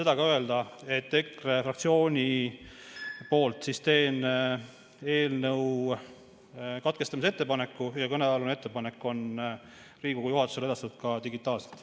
Tahtsin öelda, et EKRE fraktsiooni nimel teen eelnõu menetlemise katkestamise ettepaneku ja kõnealune ettepanek on Riigikogu juhatusele edastatud ka digitaalselt.